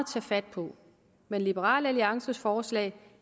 tage fat på men liberal alliances forslag